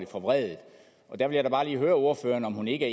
forvredet der vil jeg bare lige høre ordføreren om hun ikke